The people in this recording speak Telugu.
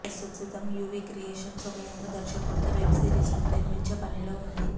ప్రస్తుతం యూవీ క్రియేషన్స్ ఒక యంగ్ దర్శకుడితో వెబ్ సిరీస్ను నిర్మించే పనిలో ఉంది